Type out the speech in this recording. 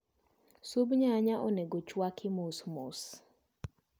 Sub nyanya onego chwaki mosmos